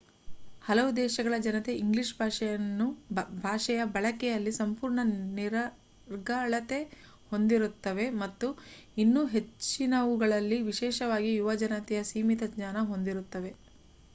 ಹಲವು ದೇಶಗಳ ಜನತೆ ಇಂಗ್ಲೀಷ್ ಭಾಷೆಯ ಬಳಕೆಯಲ್ಲಿ ಸಂಪೂರ್ಣ ನಿರರ್ಗಳತೆ ಹೊಂದಿರುತ್ತವೆ ಮತ್ತು ಇನ್ನು ಹೆಚ್ಚಿನವುಗಳಲ್ಲಿ ವಿಶೇಷವಾಗಿ ಯುವ ಜನತೆಯು ಸೀಮಿತ ಜ್ಞಾನ ಹೊಂದಿರುತ್ತವೆ